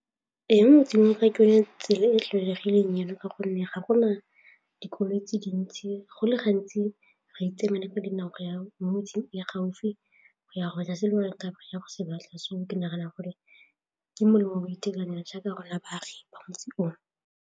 Ee, mo motseng tsela e tlwaelegileng jalo ka gonne ga gona dikoloi tse dintsi go le gantsi re tsena ko dinako ya mo metseng gaufi go ya go tla gore go se batla so ke nagana gore ke molemo o itekanela jaaka rona baagi ba motse oo.